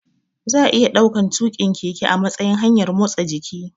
Za'a iya ɗaukan tuƙin keke a matsayin hanyar motsa jiki